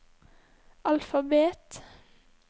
alfabet